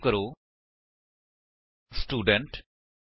Eclipse ਵਿੱਚ ਮੇਰੇ ਕੋਲ ਦੋ ਵੇਰਿਏਬਲਸ ਅਤੇ ਇੱਕ ਮੇਥਡ ਦੇ ਨਾਲ ਕਲਾਸ ਸਟੂਡੈਂਟ ਹੈ